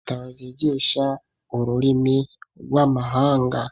Itazyigisha ururimi rw'amahanga